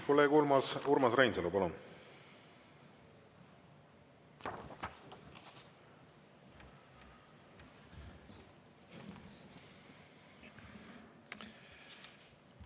Kolleeg Urmas Reinsalu, palun!